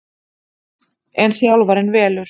En þjálfarinn velur